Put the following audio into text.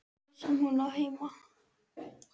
Þar sem hún á heima.